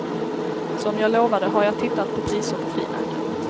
Som jag lovade har jag tittat på priser på frimärken.